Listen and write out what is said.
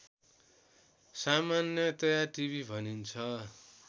सामान्यतया टिभि भनिन्छ